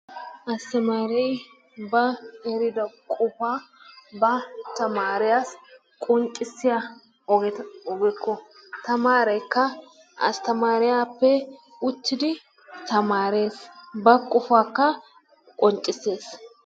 Astamaare ba eriddo qofaa ba tamaariyassi qonccissiya ogeta ogekko tamaareekka astamaariyappe uttidi tamaarees. Ba qofakka qonccissees.